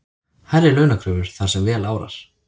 Hærri launakröfur þar sem vel árar